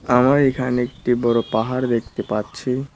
আমার এখানে একটি বড় পাহাড় দেখতে পারছি।